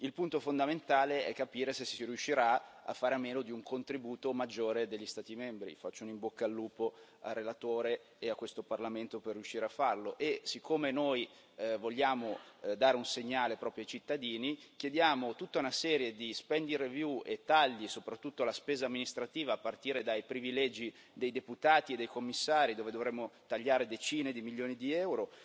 Il punto fondamentale è capire se si riuscirà a fare a meno di un contributo maggiore degli Stati membri faccio un in bocca al lupo al relatore e a questo Parlamento per riuscire a farlo e, siccome noi vogliamo dare un segnale proprio ai cittadini, chiediamo tutta una serie di spending review e di tagli, soprattutto alla spesa amministrativa, a partire dai privilegi dei deputati e dei commissari, dove dovremmo tagliare decine di milioni di EUR,